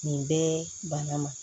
Nin bɛɛ bana ma